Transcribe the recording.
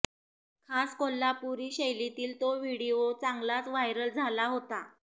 खास कोल्हापुरी शैलीतील तो व्हिडिओ चांगलाच व्हायरल झाला होता